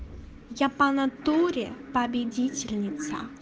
я по натуре победительница